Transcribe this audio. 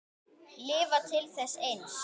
Lifa til þess eins.